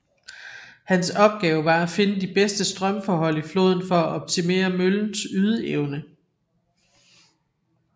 Hans opgave var at finde de bedste strømforhold i floden for at optimere møllens ydeevne